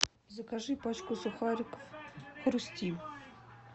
закажи пачку сухариков хрустим